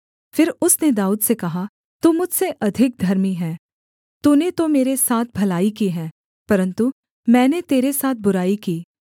फिर उसने दाऊद से कहा तू मुझसे अधिक धर्मी है तूने तो मेरे साथ भलाई की है परन्तु मैंने तेरे साथ बुराई की